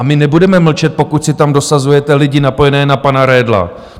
A my nebudeme mlčet, pokud si tam dosazujete lidi napojené na pana Redla.